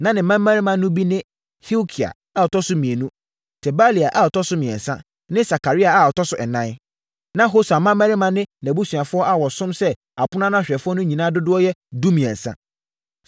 Na ne mmammarima no bi ne: Hilkia a ɔtɔ so mmienu, Tebalia a ɔtɔ so mmiɛnsa ne Sakaria tɔ so ɛnan. Na Hosa mmammarima ne nʼabusuafoɔ a wɔsom sɛ apono ano ahwɛfoɔ no nyinaa dodoɔ yɛ dumiɛnsa (13).